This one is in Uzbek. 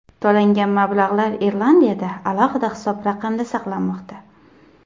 To‘langan mablag‘lar Irlandiyada alohida hisob raqamda saqlanmoqda.